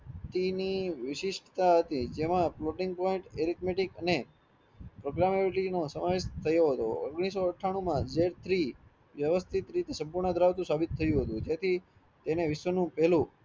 તેની વિશિષ્ટ હતી તેમાં floating point arithmetic ane probability નો સમાવેશ થયો હતો ઓગણીસો અઠાણુ માં જે ઠરી વ્યવસ્થિત રીતે સંપૂર્ણ ધરાવતું સાભિત થયું હતું જેથી તેનેટ વિશ્વ નું પેલું